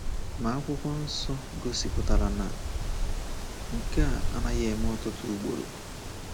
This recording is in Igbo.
Ma akwụkwọ nsọ gosipụtara na nke a anaghị eme ọtụtụ ugboro.